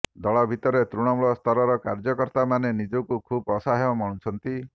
ଦଳ ଭିତରେ ତୃଣମୂଳ ସ୍ତରର କାର୍ଯ୍ୟକର୍ତ୍ତାମାନେ ନିଜକୁ ଖୁବ୍ ଅସହାୟ ମଣୁଛନ୍ତି